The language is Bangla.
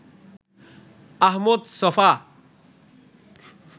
আহমদ ছফা